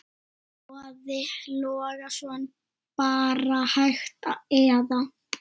Boði Logason: Bara hægt eða?